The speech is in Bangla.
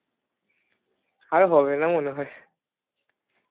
আর হবে না মনে হয়